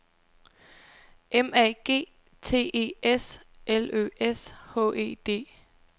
M A G T E S L Ø S H E D